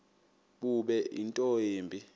bube nto yimbi